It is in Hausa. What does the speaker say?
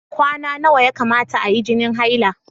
Kwana nawa ya kamata ayi jinin haila?